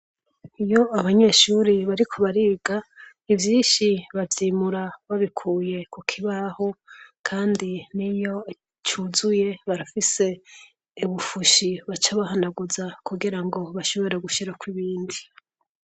Iyo abanyeshure bariko bariga, ivyinshi bavyimura babikuye ku kibaho kandi niyo cuzuye barafise ibufoshi baca bahanaguza kugira ngo bashobore gushirako ibindi.